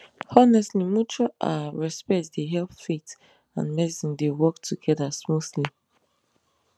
honestly mutual ah respect dey help faith and medicine dey work together smoothly